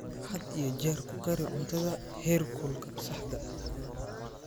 Had iyo jeer ku kari cuntada heerkulka saxda ah.